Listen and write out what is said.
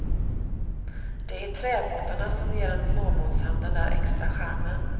Det är träbåtarna som ger en småbåtshamn den där extra charmen.